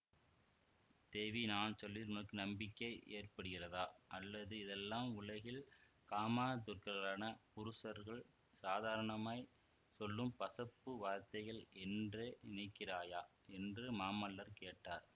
தேவி நான் சொல்வதில் உனக்கு நம்பிக்கை ஏற்படுகிறதா அல்லது இதெல்லாம் உலகில் காமாதுரர்களான புருஷர்கள் சாதாரணமாய்ச் சொல்லும் பசப்பு வார்த்தைகள் என்றே நினைக்கிறாயா என்று மாமல்லர் கேட்டார்